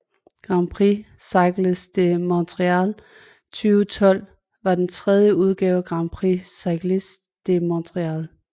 Grand Prix Cycliste de Montréal 2012 var den tredje udgave af Grand Prix Cycliste de Montréal